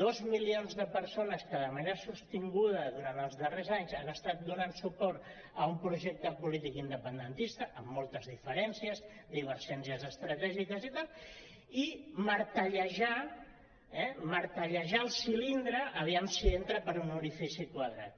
dos milions de persones que de manera sostinguda durant els darrers anys han estat donant suport a un projecte polític independentista amb moltes diferències divergències estratègiques i tal i martellejar eh martellejar el cilindre a veure si entra per un orifici quadrat